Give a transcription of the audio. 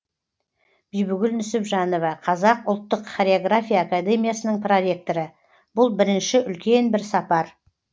бибігүл нүсіпжанова қазақ ұлттық хореография академиясының проректоры бұл бірінші үлкен бір сапар